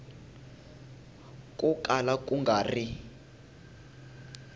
ko kala ku nga ri